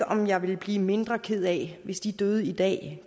om jeg ville blive mindre ked af det hvis de døde i dag